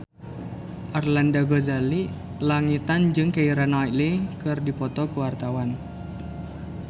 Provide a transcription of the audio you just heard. Arlanda Ghazali Langitan jeung Keira Knightley keur dipoto ku wartawan